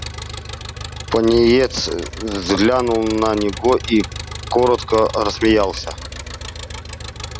пониетс взглянул на него и коротко рассмеялся